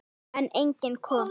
En enginn kom.